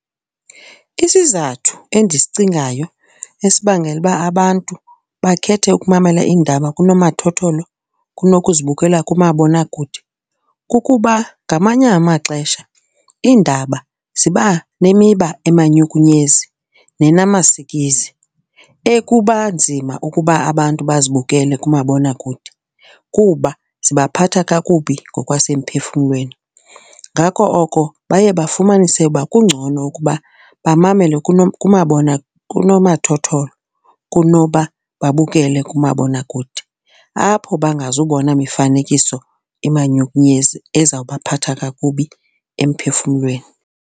Isizathu endizicingayo esibangela uba abantu bakhethe ukumamela iindaba kunomathotholo kunokuzibukela kumabonakude kukuba ngamanye amaxesha iindaba ziba nemiba emanyukunyezi nenamasikizi ekuba nzima ukuba abantu bazi bukele kumabonakude kuba zabaphatha kakubi ngokwasemphefumlweni. Ngako oko baye bafumanise ukuba kungcono ukuba bamamele kunomathotholo kunoba babukele kumabonakude, apho bangazubona mifanekiso imanyukunyezi ezawuba phatha kakubi emphefumlweni.